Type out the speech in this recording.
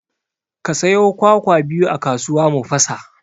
Ka sayo kwakwa biyu a kasuwa mu fasa